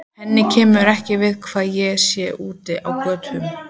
Henni kemur ekki við hvað ég sé úti á götu.